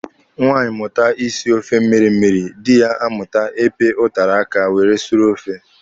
Nwaanyị mụta isi ofe mmịrị mmịrị, dị ya amụta ịpị ụtara aka were suru ofe.